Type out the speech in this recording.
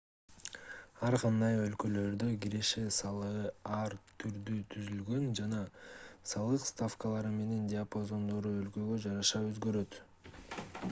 ар кандай өлкөлөрдө киреше салыгы ар түрдүү түзүлгөн жана салык ставкалары менен диапазондору өлкөгө жараша өзгөрөт